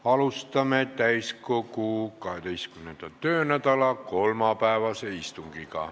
Alustame täiskogu 12. töönädala kolmapäevast istungit.